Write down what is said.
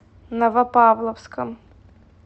новопавловском